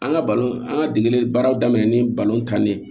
An ka balon an ka degeli baaraw daminɛ ni tan de ye